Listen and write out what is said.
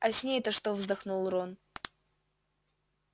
а с ней-то что вздохнул рон